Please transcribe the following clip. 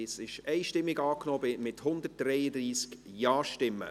Das ist einstimmig angenommen mit 133 Ja-Stimmen.